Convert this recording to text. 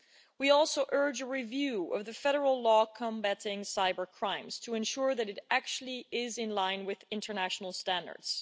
We also urge a review of the federal law combating cybercrimes to ensure that it is actually in line with international standards.